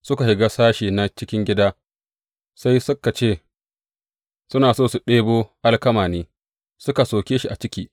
Suka shiga sashe na cikin gida sai ka ce suna so su ɗibo alkama ne, suka soke shi a ciki.